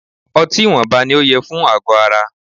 Ọtí ìwọnba ní o yẹ fún àgọ ara.